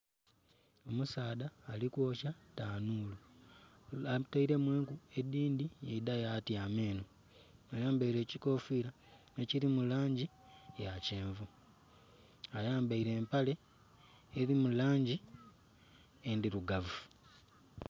Omusaadha alikwookya tanhulu atairemu eku edindi yaidha yatyama eno ayambaire ekyikofira ekyirimu langi ya kyenvu ayambaire empale erimu langi endhirugavu